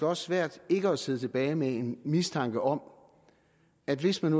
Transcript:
også svært ikke at sidde tilbage med en mistanke om at hvis man